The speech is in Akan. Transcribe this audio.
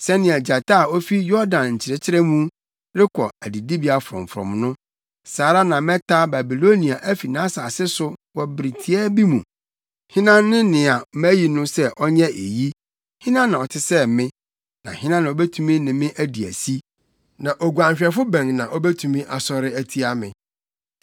Sɛnea gyata a ofi Yordan nkyɛkyerɛ mu rekɔ adidibea frɔmfrɔm no, saa ara na mɛtaa Babilonia fi nʼasase so wɔ bere tiaa bi mu. Hena ne nea mayi no sɛ ɔnyɛ eyi? Hena na ɔte sɛ me, na hena na obetumi ne me adi asi? Na oguanhwɛfo bɛn na obetumi asɔre atia me?”